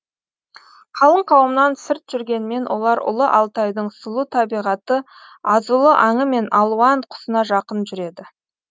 қалың қауымнан сырт жүргенмен олар ұлы алтайдың сұлу табиғаты азулы аңы мен алуан құсына жақын жүреді